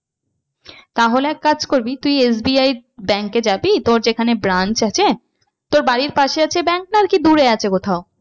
তাহলে এক কাজ করবি SBI bank এ যাবি তোর যেখানে branch আছে তোর বাড়ির পাশে আছে bank না আর কি দূরে আছে কোথাও?